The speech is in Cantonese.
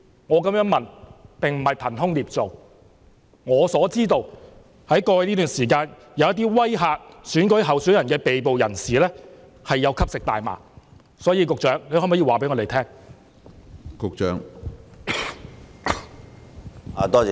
我的問題並不是憑空捏造，據我所知，在過去這段時間，一些威嚇選舉候選人的被捕人士有吸食大麻，局長可否回答我們？